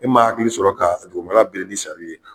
E ma hakili sɔrɔ k'a dugumana biri ni sari ye